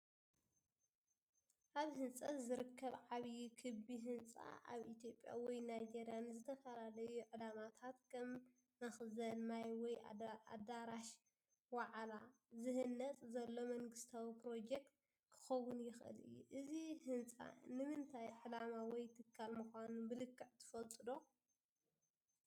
ኣብ ህንፀት ዝርከብ ዓብዪ ክቢ ህንፃ ፣ ኣብ ኢትዮጵያ ወይ ናይጀርያ ንዝተፈላለዩ ዕላማታት (ከም መኽዘን ማይ ወይ ኣዳራሽ ዋዕላ) ዝህነፅ ዘሎ መንግስታዊ ፕሮጀክት ክኸውን ይኽእል እዩ። እዚ ህንጻ ንእንታይ ዕላማ ወይ ትካል ምዃኑ ብልክዕ ትፈልጡ ዶ?